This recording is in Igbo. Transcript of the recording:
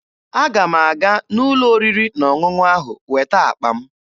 Aga m aga n'ụlọ oriri na ọṅụṅụ ahụ weta akpa m